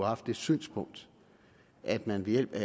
haft det synspunkt at man ved hjælp af